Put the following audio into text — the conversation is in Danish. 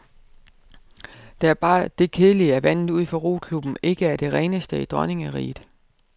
Der er bare det kedelige, at vandet ud for roklubben ikke er det reneste i dronningeriget.